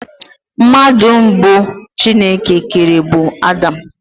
Mmadụ mbụ Chineke kere bụ Adam.